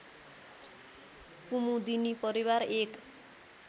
कुमुदिनी परिवार एक